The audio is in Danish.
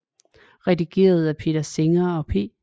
Redigeret af Peter Singer og P